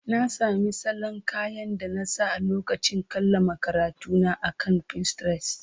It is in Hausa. Na sami salon kayan da na sa a lokacin kammala karatuna akan Pinterest.